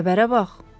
Xəbərə bax.